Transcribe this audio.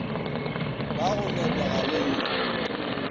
ba go ngenega le go